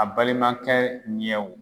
A balimakɛ ɲɛw